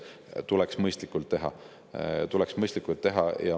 Seda tuleks mõistlikult teha, tuleks mõistlikult teha.